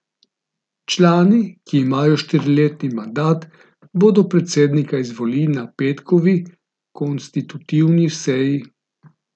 Člani, ki imajo štiriletni mandat, bodo predsednika izvolili na petkovi konstitutivni seji.